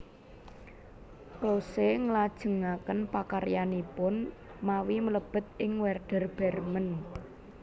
Klose nglajengaken pakaryanipun mawi mlebet ing Wèrder Brèmen